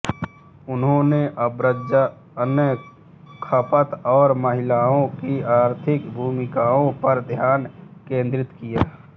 उन्होंने आव्रजन खपत और महिलाओं की आर्थिक भूमिकाओं पर ध्यान केंद्रित किया